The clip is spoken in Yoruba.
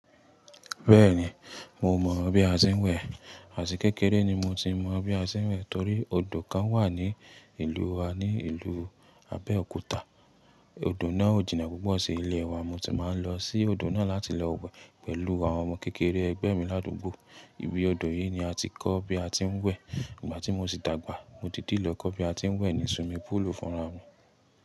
Bẹ́ẹ̀ni, mo mọ̀ bí a ṣe ń wẹ̀. Àti kékeré ni mo ti mọ bí a ṣe ń wẹ̀ torí odò kan wà ní ìlú wa ní ìlú Abẹ́òkúta. Odò náà ó jìnnà púpọ̀ sí ilé wa, mo ti máa ń lọ sí odò náà láti lọ wẹ̀ pẹ̀lú àwọn ọmọ kékeré ẹgbẹ́ mi ládùúgbò. Ibi odò yìí ni a ti kọ́ bí a ti ń wẹ̀. Ìgbà tí mo sì dàgbà, mo dìídi lọ kọ́ bí a ti ń wẹ̀ ní suwimi púùlù fúnra mi.